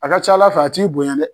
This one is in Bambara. A ka ca Ala fɛ a t'i bonya dɛ